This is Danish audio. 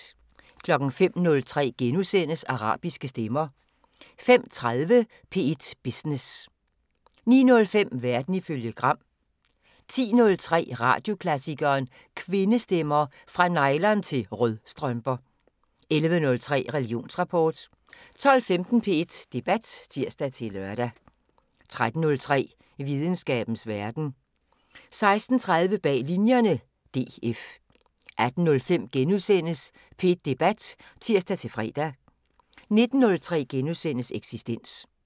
05:03: Arabiske stemmer * 05:30: P1 Business * 09:05: Verden ifølge Gram 10:03: Radioklassikeren: Kvindestemmer – Fra nylon- til rødstrømper 11:03: Religionsrapport 12:15: P1 Debat (tir-lør) 13:03: Videnskabens Verden 16:30: Bag Linjerne – DF 18:05: P1 Debat *(tir-fre) 19:03: Eksistens *